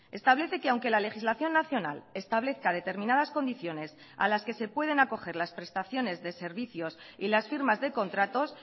establece que aunque la legislación nacional establezca determinadas condiciones a las que se pueden acoger las prestaciones de servicios y las firmas de contratos